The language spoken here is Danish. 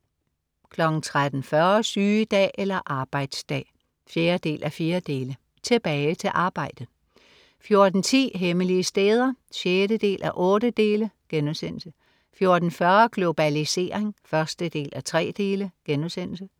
13.40 Sygedag eller arbejdsdag? 4:4.Tilbage til arbejdet 14.10 Hemmelige steder 6:8* 14.40 Globalisering 1:3*